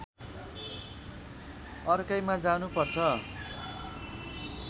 अर्कैमा जानु पर्छ